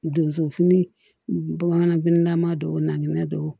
Donso fini bamananfinilama don o naginɛ don